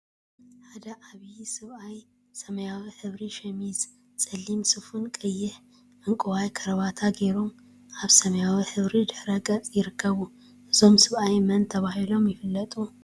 ሓደ ዓብይን ሰያብ ሰብአይ ሰማያዊ ሕብሪ ሸሚዝን፣ ፀሊም ሱፍን ቀይሕን ዕንቋይን ከረባታ ገይሮም አብ ሰማያዊ ሕብሪ ድሕረ ገፅ ይርከቡ፡፡ እዞም ሰብአይ መን ተባሂሎም ይፍለጡ?